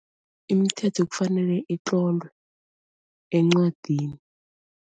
Imithetho kufanele itlolwe encwadini.